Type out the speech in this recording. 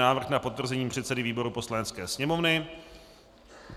Návrh na potvrzení předsedy výboru Poslanecké sněmovny